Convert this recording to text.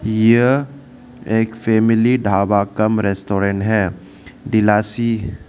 यह एक family dhaba cum restaurant है दिलासी--